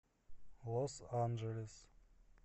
лос анджелес